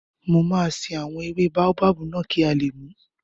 Mo máa ṣe àwọn ewé báóbábù náà kí a lè mùú